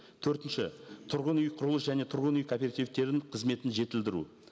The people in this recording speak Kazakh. төртінші тұрғын үй құрылыс және тұрғын үй кооперативтерінің қызметін жетілдіру